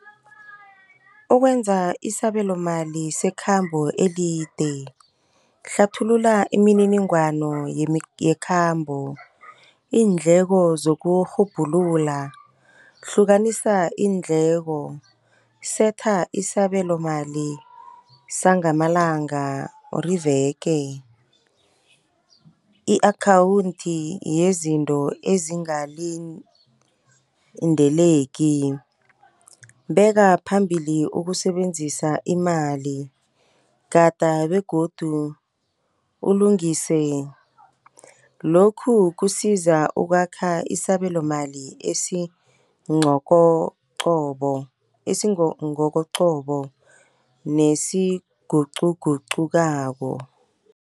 Ukwenza isabelomali sekhambo elide. Hlathulula imininingwano yekhambo, iindleko zokurhubhulula. Hlukanisa iindleko. Setha isabelo mali sangamalanga or iveke. I-akhawundi yezinto ezingakalindeleki. Beka phambili ukusebenzisa imali. Gada begodu ulungise, lokhu kusiza ukwakha isabelomali esigokogcobo nesigugcugugcukako.